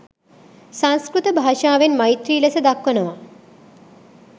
සංස්කෘත භාෂාවෙන් මෛත්‍රි ලෙස දක්වනවා.